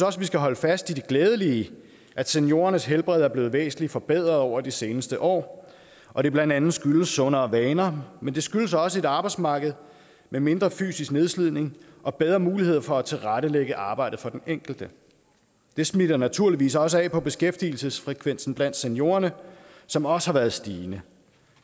også vi skal holde fast i det glædelige at seniorernes helbred er blevet væsentligt forbedret over de seneste år og det blandt andet skyldes sundere vaner men det skyldes også et arbejdsmarked med mindre fysisk nedslidning og bedre mulighed for at tilrettelægge arbejdet for den enkelte det smitter naturligvis også af på beskæftigelsesfrekvensen blandt seniorerne som også har været stigende